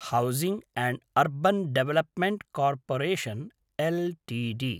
housing and urban development corporation Ltd